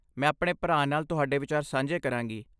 ਮੈਂ ਆਪਣੇ ਭਰਾ ਨਾਲ ਤੁਹਾਡੇ ਵਿਚਾਰ ਸਾਂਝੇ ਕਰਾਂਗੀ।